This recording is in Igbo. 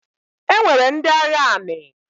E nwere ndị agha anị.